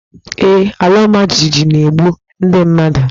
Ee, alaọmajijiji na-egbu ndị mmadụ.